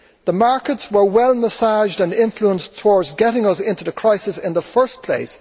The markets were well massaged and influenced towards getting us into the crisis in the first place.